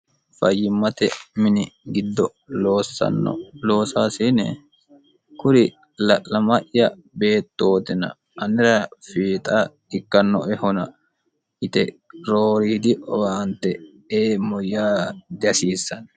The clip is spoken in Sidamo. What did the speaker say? fayyimmate mini giddo oossanno loosaasiine kuri la'lama'ya beettootina annira fiixa ikkannoehona yite rooriidi owaante eemmoyyaa dihasiissanno